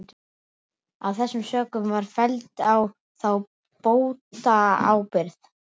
Af þessum sökum var felld á þá bótaábyrgð.